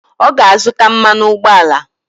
Ọ ga-azụta mmanụ ụgbọala.